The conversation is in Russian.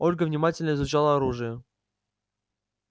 ольга внимательно изучала оружие